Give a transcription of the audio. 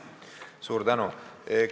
Suur tänu!